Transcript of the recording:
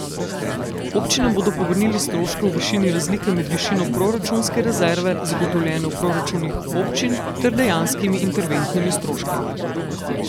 Občinam bodo povrnili stroške v višini razlike med višino proračunske rezerve, zagotovljene v proračunih občin, ter dejanskimi interventnimi stroški.